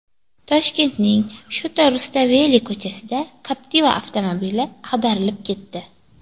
Toshkentning Shota Rustaveli ko‘chasida Captiva avtomobili ag‘darilib ketdi.